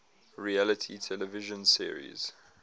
reality television series